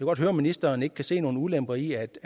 godt høre om ministeren ikke kan se nogen ulemper i at